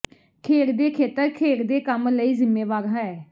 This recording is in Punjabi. ਖੇਡ ਦੇ ਖੇਤਰ ਖੇਡ ਦੇ ਕੰਮ ਲਈ ਜ਼ਿੰਮੇਵਾਰ ਹੈ